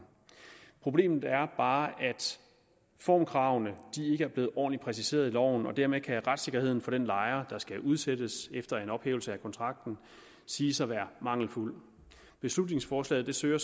problemet er bare at formkravene ikke er blevet ordentligt præciseret i loven og dermed kan retssikkerheden for den lejer der skal udsættes efter en ophævelse af kontrakten siges at være mangelfuld beslutningsforslaget søger